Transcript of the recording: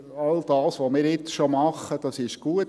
«All das, was wir jetzt schon machen, ist gut.